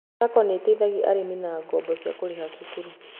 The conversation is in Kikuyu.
SACCO nĩteithagia arĩmi na ngoombo cia kũriha cukuru